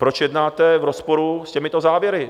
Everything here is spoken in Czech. Proč jednáte v rozporu s těmito závěry?